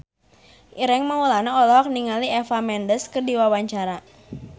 Ireng Maulana olohok ningali Eva Mendes keur diwawancara